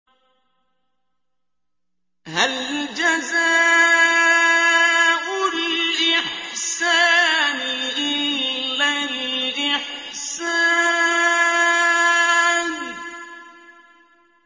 هَلْ جَزَاءُ الْإِحْسَانِ إِلَّا الْإِحْسَانُ